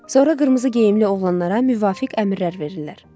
Sonra qırmızı geyimli oğlanlara müvafiq əmrlər verirlər.